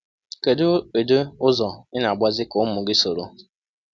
Kedu ụdị ụzọ ị na-agbazị ka ụmụ gị soro?